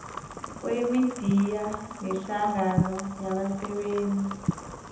kwemidiya nehlangano yabasebenzeli